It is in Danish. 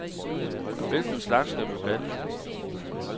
Hvilken slags skal vi plante?